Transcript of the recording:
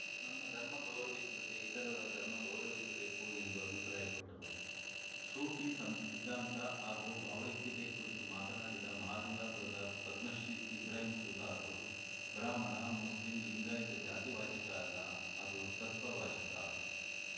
ನಮ್ಮ ಧರ್ಮ ಗೌರವಿಸಿದಂತೆ ಇತರರ ಧರ್ಮ ಗೌರವಿಸಬೇಕು ಎಂದು ಅಭಿಪ್ರಾಯಪಟ್ಟರು ಸೂಫಿ ಸಂತ್ ಸಿದ್ಧಾಂತ ಮತ್ತು ಭಾವೈಕ್ಯತೆ ಕುರಿತು ಮಾತನಾಡಿದ ಮಹಾಲಿಂಗಪುರದ ಪದ್ಮಶ್ರೀ ಇಬ್ರಾಹಿಂ ಸುತಾರು ಬ್ರಾಹ್ಮಣ ಮುಸ್ಲಿಂ ಲಿಂಗಾಯತ ಜಾತಿವಾಚಕ ಅಲ್ಲ ಅದು ತತ್ವವಾಚಕ